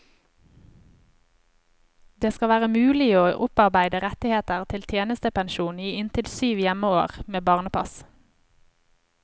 Det skal være mulig å opparbeide rettigheter til tjenestepensjon i inntil syv hjemmeår med barnepass.